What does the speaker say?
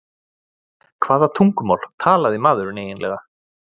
Hvaða tungumál talaði maðurinn eiginlega?